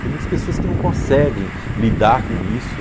Tem muitas pessoas que não conseguem lidar com isso.